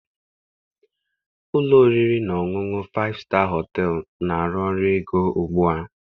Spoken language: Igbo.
Ụlọ oriri na ọṅụṅụ na Faịfụ Staa Họtelụ na-arụ ọrụ ego ugbu a